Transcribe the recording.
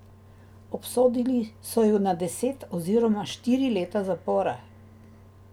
Obsodili so ju na deset oziroma štiri leta zapora.